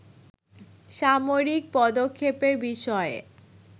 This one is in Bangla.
সামরিক পদক্ষেপের বিষয়ে